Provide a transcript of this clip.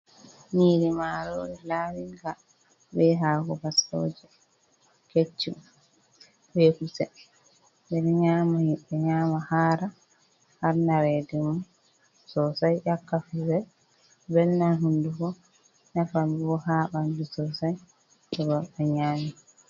Niri marori lawinga, be hako baskoje keccum, be kusel ɓe ɗon nyama hara, har naredu sosai, nyakka kusel, velnan honduko, nafanbo ha ɓandu sosai, togod ɗo nyami.